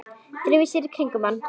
Dreifi sér í kringum hann.